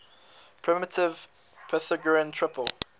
primitive pythagorean triple